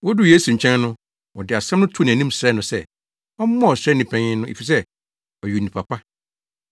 Woduu Yesu nkyɛn no, wɔde asɛm no too nʼanim srɛɛ no sɛ, ɔmmoa ɔsraani panyin no, efisɛ ɔyɛ onipa pa.